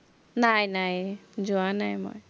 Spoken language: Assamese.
নাই নাই, যোৱা নাই মই।